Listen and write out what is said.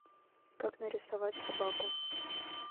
как нарисовать собаку